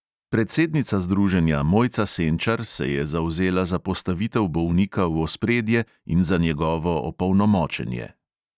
Predsednica združenja mojca senčar se je zavzela za postavitev bolnika v ospredje in za njegovo opolnomočenje.